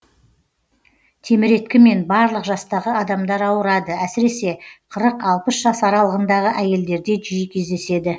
теміреткімен барлық жастағы адамдар ауырады әсіресе қырық алпыс жас аралығындағы әйелдерде жиі кездеседі